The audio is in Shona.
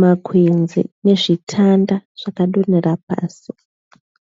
Makwenzi nezvitanda zvakadonhera pasi.